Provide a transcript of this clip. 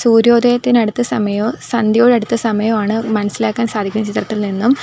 സൂര്യോദയത്തിന് അടുത്ത സമയോ സന്ധ്യയോട് അടുത്ത സമയോ ആണ് മനസ്സിലാക്കാൻ സാധിക്കുന്നത് ചിത്രത്തിൽ നിന്നും.